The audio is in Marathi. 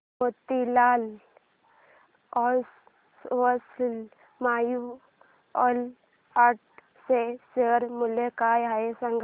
मोतीलाल ओस्वाल म्यूचुअल फंड चे शेअर मूल्य काय आहे सांगा